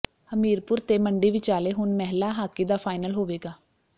ਹਮੀਰਪੁਰ ਤੇ ਮੰਡੀ ਵਿਚਾਲੇ ਹੁਣ ਮਹਿਲਾ ਹਾਕੀ ਦਾ ਫਾਈਨਲ ਹੋਵੇਗਾ